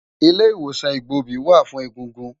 Ilé Iwósán Igbóbi wá fún égúngún